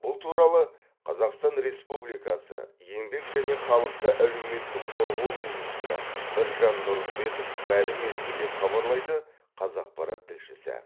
бұл туралы қазақстан республикасы еңбек және халықты әлеуметтік қорғау министрі біржан нұрымбетов мәлім етті деп хабарлайды қазақпарат тілшісі